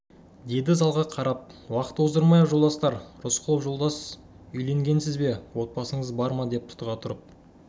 деді залға қарап уақыт оздырмайық жолдастар рысқұлов жолдас үйленгенсіз бе отбасыңыз бар ма деп тұтыға тұрып